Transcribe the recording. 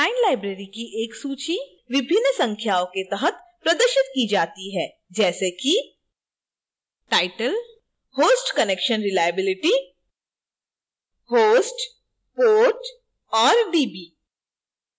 9 libraries की एक सूची विभिन्न संख्याओं के तहत प्रदर्शित की जाती है जैसे कि